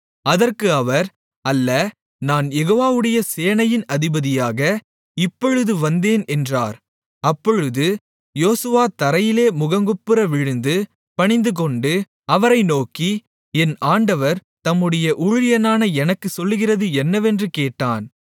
அதற்கு அவர் அல்ல நான் யெகோவாவுடைய சேனையின் அதிபதியாக இப்பொழுது வந்தேன் என்றார் அப்பொழுது யோசுவா தரையிலே முகங்குப்புற விழுந்து பணிந்துகொண்டு அவரை நோக்கி என் ஆண்டவர் தம்முடைய ஊழியனான எனக்குச் சொல்லுகிறது என்னவென்று கேட்டான்